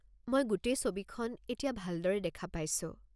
মই গোটেই ছবিখন এতিয়া ভালদৰে দেখা পাইছো।